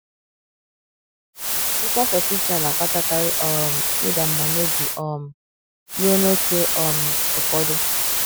Mkpasasị uche a na - akpatakarị um ịda mbà n’obi — um ruo n’ókè um ụfọdụ.